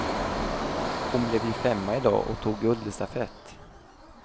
Hon blev ju femma idag och tog guld i stafett.